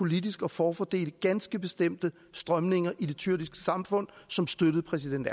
politisk at forfordele ganske bestemte strømninger i det tyrkiske samfund som støttede præsident